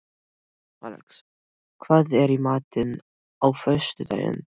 Alex, hvað er í matinn á föstudaginn?